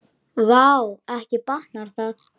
Vá, ekki batnar það!